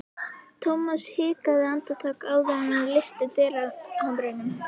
Thomas hikaði andartak áður en hann lyfti dyrahamrinum.